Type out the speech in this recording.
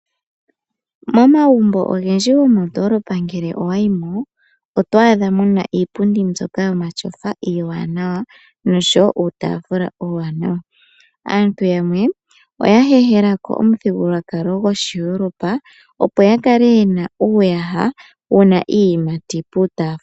Momagumbo ogendji gomoondolopa ngele owa yimo , oto adha mo muna iipundi mbyoka yomatyofa iiwanawa nosho woo uutaafula uuwanawa. Aantu yamwe , oya heehela ko omuthigululwakalo goshiEuropa opo ya kale yena uuyaha wuna iiyimati puutaafula.